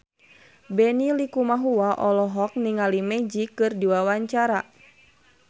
Benny Likumahua olohok ningali Magic keur diwawancara